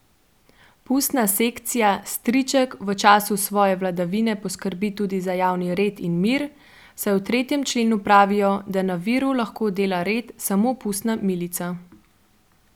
Pustna sekcija Striček v času svoje vladavine poskrbi tudi za javni red in mir, saj v tretjem členu pravijo, da na Viru lahko dela red samo pustna milica.